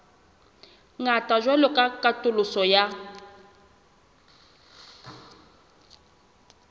ngata jwalo ka katoloso ya